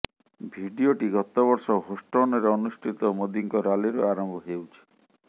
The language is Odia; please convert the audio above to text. ଭିଡିଓଟି ଗତବର୍ଷ ହୋଷ୍ଟନରେ ଅନୁଷ୍ଠିତ ମୋଦିଙ୍କ ରାଲିରୁ ଆରମ୍ଭ ହେଉଛି